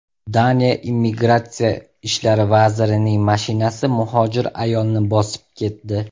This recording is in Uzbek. Daniya immigratsiya ishlari vazirining mashinasi muhojir ayolni bosib ketdi .